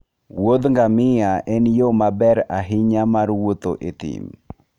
wuodh ngamia en yo maber ahinya mar wuotho e thim.